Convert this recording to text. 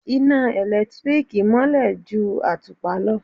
Iná ẹ̀lẹ́tíríkì mọ́lẹ̀ ju àtùpà lọ.